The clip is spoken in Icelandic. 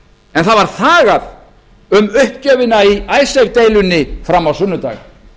en þagað var um uppgjöfina í icesave deilunni fram á sunnudag